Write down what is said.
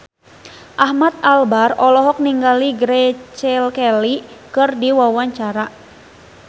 Ahmad Albar olohok ningali Grace Kelly keur diwawancara